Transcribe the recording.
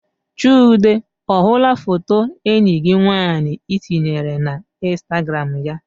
Chude ọ hụla foto enyi gị nwaanyị tinyere na instagram ya?